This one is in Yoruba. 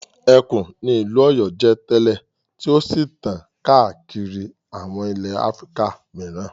Ẹkùn ni ìlú Ọ̀yọ́ jẹ́ tẹ́lẹ̀ tí ó sì tàn káàkiri àwọn ilẹ̀ Áfíríkà mìíràn.